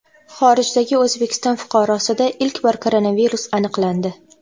Xorijdagi O‘zbekiston fuqarosida ilk bor koronavirus aniqlandi.